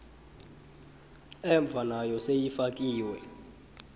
emva nayo seyifakiwe